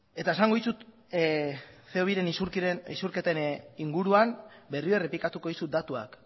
eta esango dizut ce o biren isurketen inguruan berriro errepikatuko dizut datuak